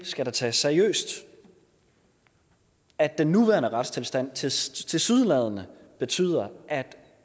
skal tages seriøst at den nuværende retstilstand tilsyneladende betyder at